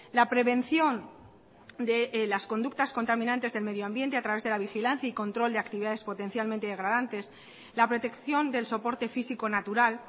la prevención de las conductas contaminantes del medio ambiente a través de la vigilancia y control de actividades potencialmente degradantes la protección del soporte físico natural